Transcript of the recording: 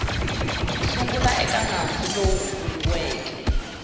sungula eka nandzu lowu vuriweke